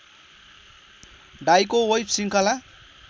डाइको web श्रृङ्खला